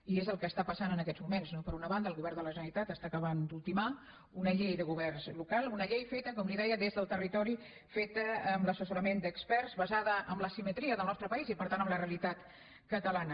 i és el que està passant en aquests moments no per una banda el govern de la generalitat està acabant d’ultimar una llei de governs locals una llei feta com li deia des del territori feta amb l’assessorament d’experts basada en l’asimetria del nostre país i per tant en la realitat catalana